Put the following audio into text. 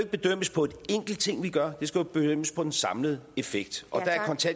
bedømmes på en enkelt ting vi gør det skal jo bedømmes på den samlede effekt og